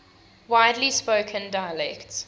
widely spoken dialects